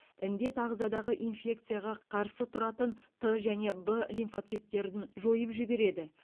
індет ағзадағы инфекцияға қарсы тұратын т және б лимфоциттерін жойып жібереді